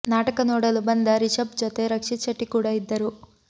ನಾಟಕ ನೋಡಲು ಬಂದ ರಿಷಬ್ ಜೊತೆ ರಕ್ಷಿತ್ ಶೆಟ್ಟಿ ಕೂಡ ಇದ್ದರು